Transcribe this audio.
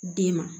Den ma